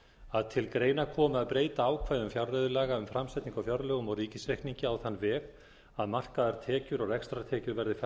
að til greina komi að breyta ákvæðum fjárreiðulaga um framsetningu á fjárlögum og ríkisreikningi á þann veg að markaðar tekjur og rekstrartekjur verði færðar á